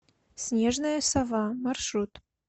снежная сова маршрут